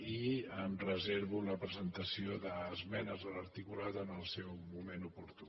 i em reservo la presentació d’esmenes a l’articulat en el seu moment oportú